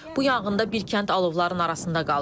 Bu yanğında bir kənd alovların arasında qalıb.